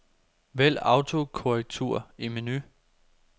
Vælg autokorrektur i menu.